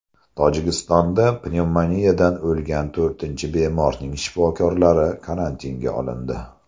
Tojikistonda pnevmoniyadan o‘lgan to‘rtinchi bemorning shifokorlari karantinga olindi.